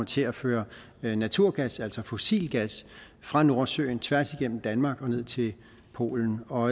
til at føre naturgas altså fossil gas fra nordsøen tværs igennem danmark og ned til polen og